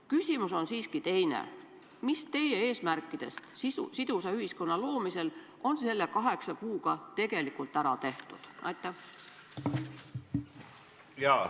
Küsimus on siiski teine: mis teie eesmärkidest sidusa ühiskonna loomisel on selle kaheksa kuuga tegelikult ära tehtud?